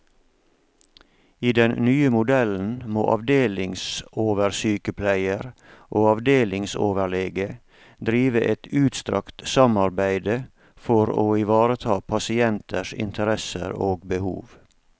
I den nye modellen må avdelingsoversykepleier og avdelingsoverlege drive et utstrakt samarbeide for å ivareta pasienters interesser og behov.